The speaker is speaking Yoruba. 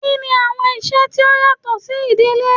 Kini awọn iṣẹ ti o yatọ si idile?